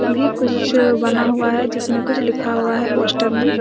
भी कुछ बना हुआ हैं जिसमें कुछ लिखा हुआ हैं पोस्टर में--